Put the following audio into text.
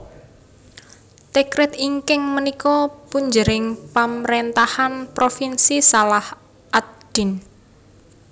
Tikrit inggih punika punjering pamrentahan provinsi Salah ad Din